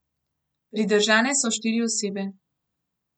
Pridržane so štiri osebe.